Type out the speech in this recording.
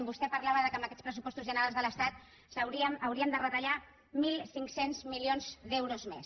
vostè parlava que amb aquests pressupostos generals de l’estat hauríem de retallar mil cinc cents milions d’euros més